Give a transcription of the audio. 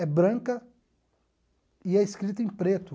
É branca e é escrita em preto.